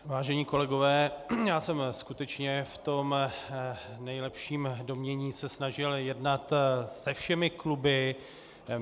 Vážení kolegové, já jsem skutečně v tom nejlepším domnění se snažil jednat se všemi kluby.